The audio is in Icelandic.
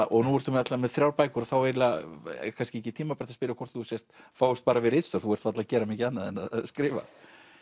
og nú ertu með þrjár bækur þá er kannski ekki tímabært að spyrja hvort þú fáist bara við ritstörf þú ert varla að gera mikið annað en að skrifa